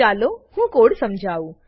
ચાલો હું કોડ સમજાઉ